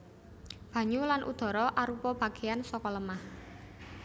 Banyu lan udhara arupa bagéyan saka lemah